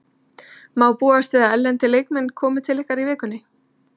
Má búast við að erlendir leikmenn komi til ykkar í vikunni?